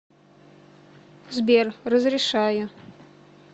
сбер разрешаю